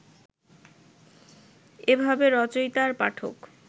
এভাবে রচয়িতা আর পাঠক